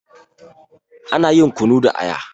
Ana yin kunu da aya.